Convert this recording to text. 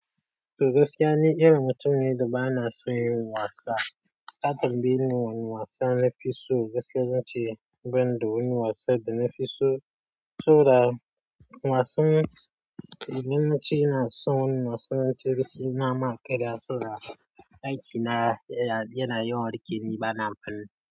To gaskiya ni, irin mutum ne da ba na son yin wasa. Ka tambayeni ne wani wasa na fi so gaskiya zan ce ban da wani wasan da na fi so, so da wasan limaci ina son wannan wasan limaci gaskiya n'na maƙira so da aiki na yana yi warke ni ba na amfani.